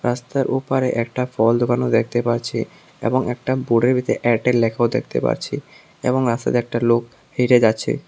রাস্তার ওপারে একটা ফল দোকানও দেখতে পারছি এবং একটা বোর্ড এর ভিতর এয়ারটেল লেখাও দেখতে পারছি এবং রাস্তা দিয়ে একটা লোক হেঁটে যাচ্ছে।